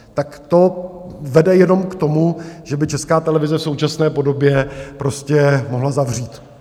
Tak to vede jenom k tomu, že by Česká televize v současné podobě prostě mohla zavřít.